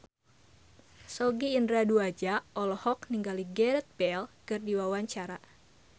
Sogi Indra Duaja olohok ningali Gareth Bale keur diwawancara